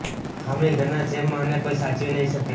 આમેય ઘના જેમ આને કોઈ સાચવી નહિ શકે